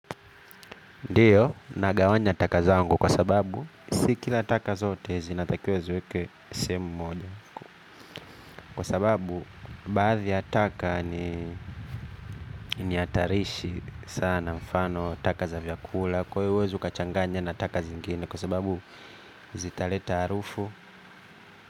Ndiyo, nagawanya taka zangu kwa sababu, si kila taka zote zinatakiwa ziweke sehemu moja. Kwa sababu, baadhi ya taka ni ni hatarishi sana mfano taka za vyakula. Kwa hiyo huwezi ukachanganya na taka zingine kwa sababu, zitaleta harufu.